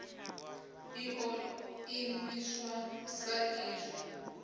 i ḓo imiswa sa izwo